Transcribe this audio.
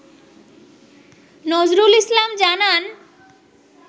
নজরুল ইসলাম জানান